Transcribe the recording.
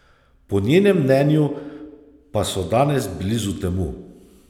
Po njenem mnenju pa so danes blizu temu.